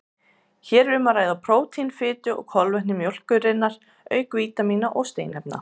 Hér er um að ræða prótín, fitu og kolvetni mjólkurinnar auk vítamína og steinefna.